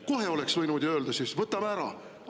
Kohe oleks võinud ju öelda, et võtame ära.